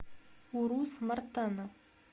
урус мартана